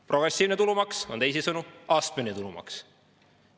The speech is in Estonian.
Progressiivne tulumaks on teisisõnu astmeline tulumaks.